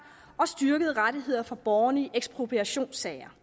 og styrkede rettigheder for borgerne i ekspropriationssager